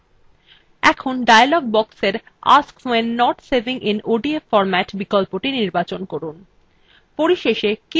এখন dialog boxএর ask when not saving in odf formatবিকল্পটি নির্বাচন করুন